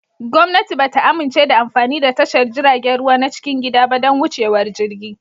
Gwamnati ba ta amince da amfani da tashar jiragen ruwa na cikin gida ba don wucewar jirgi